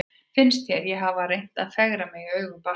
Finnst þér ég hafa reynt að fegra mig í augum barnsins?